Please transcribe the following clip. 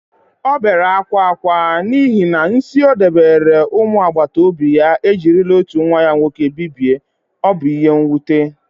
O bere akwa akwa, n'ihi na nsi o dobere umu agbata obi ya ejirila otu nwa ya nwoke bibie. Ọ bụ ihe nwute.